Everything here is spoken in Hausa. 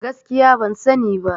Gaskiya ban sani ba